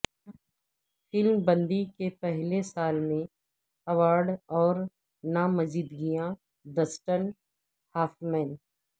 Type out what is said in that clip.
film بندی کے پہلے سال میں ایوارڈ اور نامزدگیاں ڈسٹن ہافمین